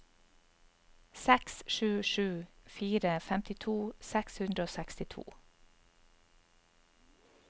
seks sju sju fire femtito seks hundre og sekstito